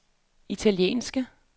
italienske